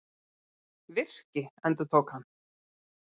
Virki, endurtók hann.